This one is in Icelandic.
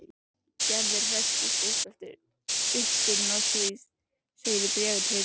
Gerður hresstist eftir uppskurðinn og hún segir í bréfi til